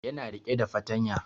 Ya na rike da fartanya